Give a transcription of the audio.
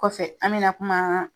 Kɔfɛ an me na kuma